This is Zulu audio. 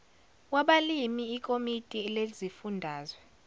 wabalimi ikomiti lezifundazwe